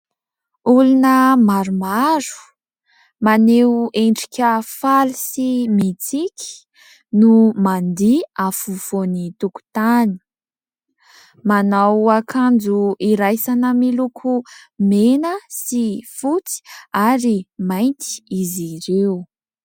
Olona maromaro, maneho endrika faly sy mitsiky no mandihy afovoan'ny tokotany. Manao akanjo hiraisana miloko mena sy fotsy ary mainty izy ireo.